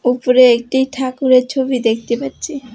উপরে একটি ঠাকুরের ছবি দেখতে পাচ্ছি।